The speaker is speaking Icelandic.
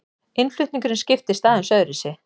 Innflutningurinn skiptist aðeins öðruvísi.